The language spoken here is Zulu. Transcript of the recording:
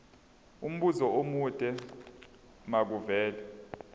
umbuzo omude makuvele